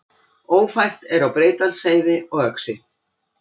Ófært er á Breiðdalsheiði og Öxi